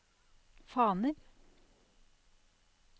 faner